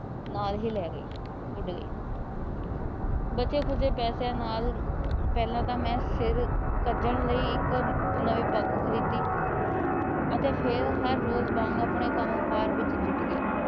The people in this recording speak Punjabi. ਨਾਲ ਹੀ ਲੈ ਗਈ ਉੱਡ ਗਈ। ਬਚੇ ਖੁਚੇ ਪੈਸੇਆਂ ਨਾਲ ਪਹਿਲ ਤਾ ਮੈ ਸਿਰ ਭੱਜਣ ਲਈ ਇੱਕ ਨਵੀ ਪੱਗ ਖਰੀਦੀ ਅਤੇ ਫੇਰ ਹਰ ਰੋਜ ਵਾਂਗ ਆਪਣੇ ਕੰਮ ਕਾਰ ਵਿੱਚ ਜੁਟ ਗਿਆ।